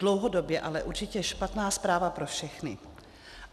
Dlouhodobě ale určitě špatná zpráva pro všechny.